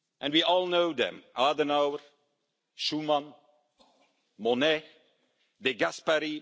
We all know them Adenauer, Schuman, Monnet, De Gasperi.